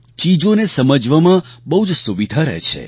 ચીજોને સમજવામાં બહુ જ સુવિધા રહે છે